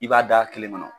I b'a da kelen kɔnɔ